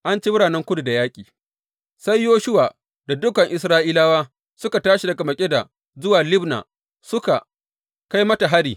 An ci biranen kudu da yaƙi Sai Yoshuwa da dukan Isra’ilawa suka tashi daga Makkeda zuwa Libna, suka kai mata hari.